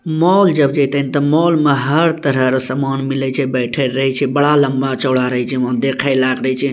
मोल जब जेते ने ते मोल मे हर तरह के समान मिले छै बैठएल रहे छै बड़ा लंबा चौड़ा रहे छै वहां देखे लायक रहय छै।